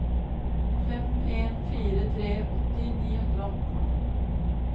fem en fire tre åtti ni hundre og atten